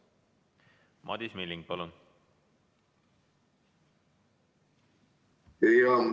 Madis Milling, palun!